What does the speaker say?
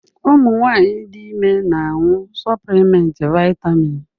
Ụmụ nwanyị dị ime na-aṅụ suplimenti vaịtamịn.